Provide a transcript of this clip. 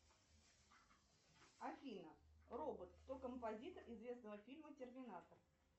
афина робот кто композитор известного фильма терминатор